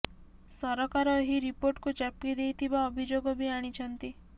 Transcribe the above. ସରକାର ଏହି ରିପୋର୍ଟକୁ ଚାପି ଦେଇଥିବା ଅଭିଯୋଗ ବି ଆଣିଛନ୍ତି